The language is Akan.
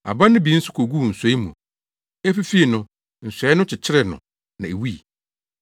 Aba no bi nso koguu nsɔe mu. Efifii no, nsɔe no kyekyeree no na ewui.